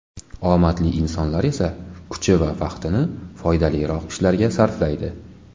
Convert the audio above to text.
Omadli insonlar esa kuchi va vaqtini foydaliroq ishlarga sarflaydi.